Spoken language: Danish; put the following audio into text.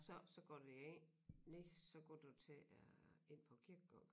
Så så går du jo ind nej så går du til øh ind på kirkegården